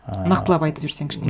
нақтылап айтып жіберсең